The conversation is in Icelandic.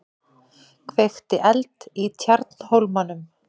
Kveikti eld í Tjarnarhólmanum